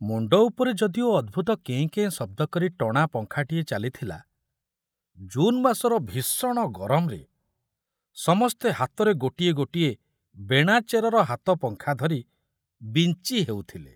ମୁଣ୍ଡ ଉପରେ ଯଦିଓ ଅଦ୍ଭୁତ କେଁ କେଁ ଶବ୍ଦ କରି ଟଣା ଫଖାଟିଏ ଚାଲିଥିଲା, ଜୁନ ମାସର ଭୀଷଣ ଗରମରେ ସମସ୍ତେ ହାତରେ ଗୋଟିଏ ଗୋଟିଏ ବେଣାଚରର ହାତ ଫଖା ଧରି ବିଞ୍ଚି ହେଉଥିଲେ।